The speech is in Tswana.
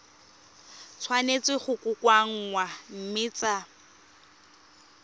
tshwanetse go kokoanngwa mme tsa